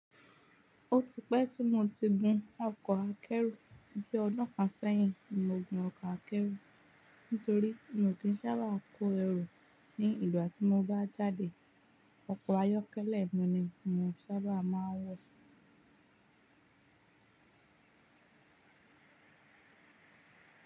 Ó ti pẹ́ tí mo ti gun ọkọ̀ akẹ́rù, bí ọdún kan sẹ́yìn mi o gun ọkọ̀ akẹ́rù. N torí mi ò kí ń sábà kó ẹrù ní ìgbati mo bá jáde, ọkọ̀ ayọ́kẹ́lẹ́ ni mo sábà máa ń wọ̀.